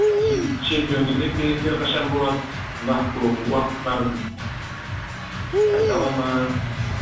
чемпиондық жекпе жектері қашан болады нақтылы уақыттарын айта ала ма